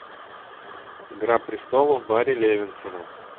игра престолов барри левинсона